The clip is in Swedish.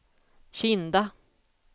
Kinda